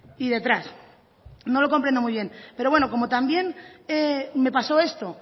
y detrás no lo comprendo muy bien pero bueno como también me pasó esto